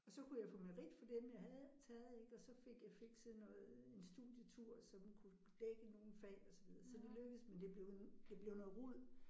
Og så kunne jeg få merit for dem jeg havde taget ik og så fik jeg fikset noget en studietur som kunne dække nogle fag og så videre så det lykkedes men det blev en det blev noget rod